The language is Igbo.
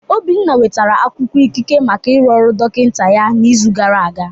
Obinna nwetara akwụkwọ ikike maka ịrụ ọrụ dọkịta ya n'izu gara aga.